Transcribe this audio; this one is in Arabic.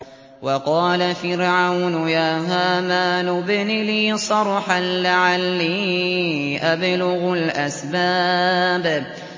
وَقَالَ فِرْعَوْنُ يَا هَامَانُ ابْنِ لِي صَرْحًا لَّعَلِّي أَبْلُغُ الْأَسْبَابَ